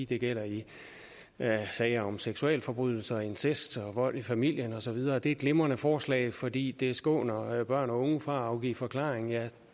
det gælder i sager om seksualforbrydelser incest og vold i familien og så videre det er et glimrende forslag fordi det skåner børn og unge for at afgive forklaring